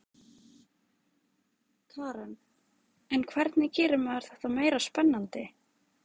Karen: En hvernig gerir maður þetta meira spennandi?